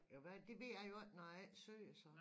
Jo hvad det ved jeg jo ikke når jeg ikke syer så